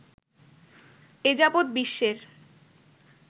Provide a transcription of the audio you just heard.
এ যাবৎ বিশ্বের